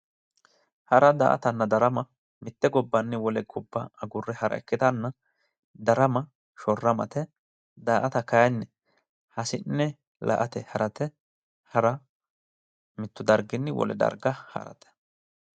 Hara, daa'atanna darama mitte gobbanni wile gobba agurre hara ikkitanna, Darama shorramate, daa'ata kayinni hasi'ne la'ate harate. Hara mitu darginni wole harate.